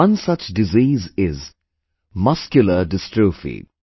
One such disease is Muscular Dystrophy